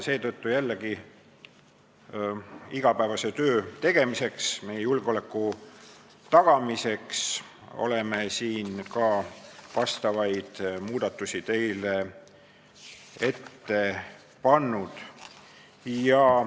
Seetõttu oleme jällegi igapäevase töö tegemiseks, meie julgeoleku tagamiseks siin teile muudatused ette pannud.